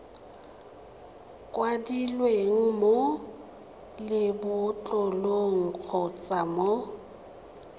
kwadilweng mo lebotlolong kgotsa mo